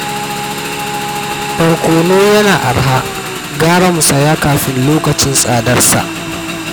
Borkono yanzu yana arha, gara mu saya kafin lokacin tsadarsa